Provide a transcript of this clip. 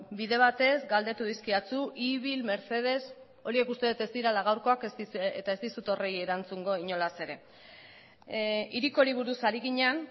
bide batez galdetu dizkidazu ibil mercedes horiek uste dut ez direla gaurkoak eta ez dizut horiek erantzungo inolaz ere hirikori buruz ari ginen